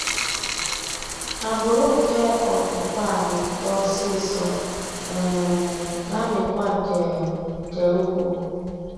Agbụrụ nke ọpụpa a na-eto ọsịsọ um na-amịkwa nke nke ukwuu